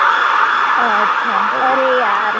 અચ્છા અરે યાર